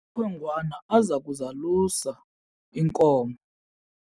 amakhwenkwana aza kuzalusa iinkomo.